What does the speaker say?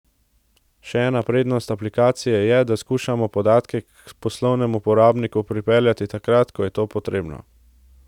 Še ena prednost aplikacije je, da skušamo podatke k poslovnemu uporabniku pripeljati takrat, ko je to potrebno.